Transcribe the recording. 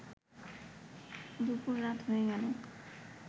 দুপুর রাত হয়ে গেল